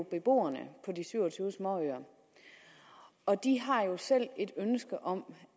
beboerne på de syv og tyve småøer og de har jo selv et ønske om